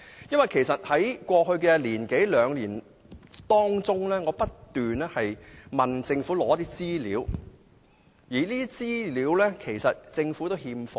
因為我在過去一兩年不斷向政府索取資料，但這些資料也是欠奉。